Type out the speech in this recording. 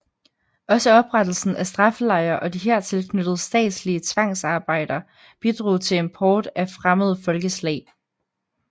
Også oprettelsen af straffelejre og de hertil knyttede statslige tvangsarbejder bidrog til import af fremmede folkeslag